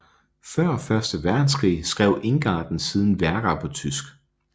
Før første verdenskrig skrev Ingarden siden værker på tysk